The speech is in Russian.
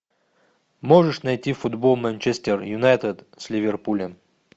можешь найти футбол манчестер юнайтед с ливерпулем